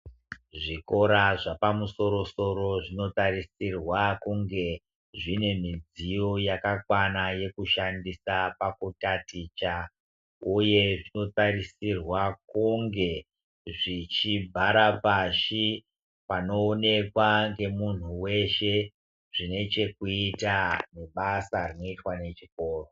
Zvikora zvapamusoro soro zvinotarisirwa kunge zvinemidziyo yakakwana yekushandisa pakutaticha ,uye zvinotarisirwa kunge zvichivhara pashi panowonekwa ngemunhu wese zvinechekuita nebasa rinoitwa nechikoro